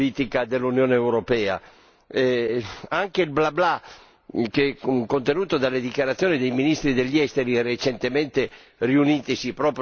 Anche il bla bla contenuto nelle dichiarazioni dei ministri degli Esteri recentemente riunitisi proprio su questo problema non ha nulla di concreto.